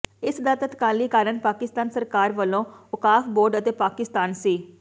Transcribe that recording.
ਇਸ ਦਾ ਤੱਤਕਾਲੀ ਕਾਰਨ ਪਾਕਿਸਤਾਨ ਸਰਕਾਰ ਵੱਲੋਂ ਓਕਾਫ਼ ਬੋਰਡ ਅਤੇ ਪਾਕਿਸਤਾਨ ਸਿ